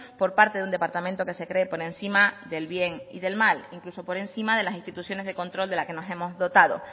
por parte de un departamento que se cree por encima del bien y del mal incluso por encima de las instituciones de control de las que nos hemos dotado